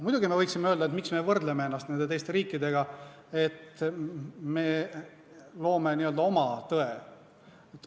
Muidugi me võiksime öelda, et miks me võrdleme ennast nende teiste riikidega ja et me loome n-ö oma tõe.